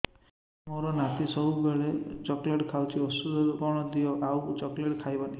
ମୋ ନାତି ସବୁବେଳେ ଚକଲେଟ ଖାଉଛି ଔଷଧ କଣ ଦିଅ ଆଉ ଚକଲେଟ ଖାଇବନି